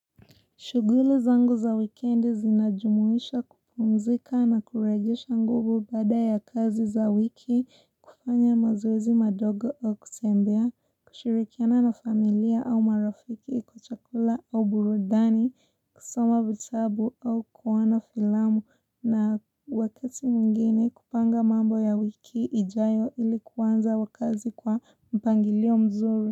Shughuli zangu za wikendi zinajumuisha kupumzika na kurejesha nguvu baada ya kazi za wiki kufanya mazoezi madogo au kutembea, kushirikiana na familia au marafiki kwa chakula au burudani, kusoma vitabu au kuona filamu na wakati mwingine kupanga mambo ya wiki ijayo ili kuanza wa kazi kwa mpangilio mzuri.